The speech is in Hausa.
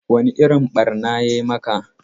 Wane irin ɓarna ya yi maka?